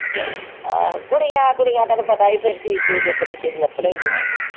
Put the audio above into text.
ਆਹੋ ਕੁੜੀਆਂ ਕੁੜੀਆਂ ਤੈਨੂੰ ਪਤਾ ਵੀ ਫਿਰ ਚੀਜ਼ ਚੂਜ਼ ਇੱਕ ਦੂਜੇ ਦੀ ਚੁੱਕ ਲੈਂਦੀਆਂ।